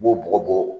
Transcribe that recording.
I b'o bɔgɔ bɔ